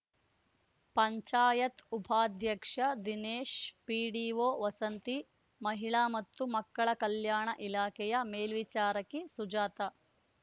ಪಂಚಾಯತ್ ಉಪಾಧ್ಯಕ್ಷ ದಿನೇಶ್ ಪಿಡಿಓ ವಸಂತಿ ಮಹಿಳಾ ಮತ್ತು ಮಕ್ಕಳ ಕಲ್ಯಾಣ ಇಲಾಖೆಯ ಮೇಲ್ವಿಚಾರಕಿ ಸುಜಾತ